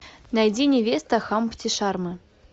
найди невеста хампти шармы